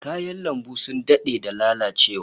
Kayan lambun sun dade da lalacewa